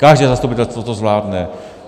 Každé zastupitelstvo to zvládne.